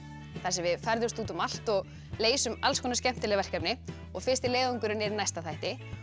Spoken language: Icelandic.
þar sem við ferðumst út um allt og leysum alls konar skemmtileg verkefni og fyrsti leiðangurinn er í næsta þætti